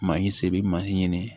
Ma i se bɛ ɲini